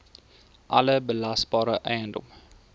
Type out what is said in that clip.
alle belasbare eiendom